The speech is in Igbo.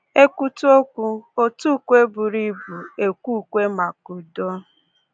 E kwutu okwu, òtù ukwe buru ibu ekwee ukwe maka udo